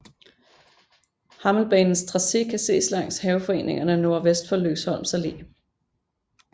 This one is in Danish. Hammelbanens tracé kan ses langs haveforeningerne nordvest for Lykkesholms Alle